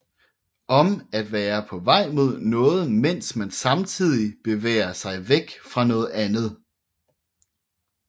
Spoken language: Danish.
Om at være på vej mod noget mens man samtidig bevæger sig væk fra noget andet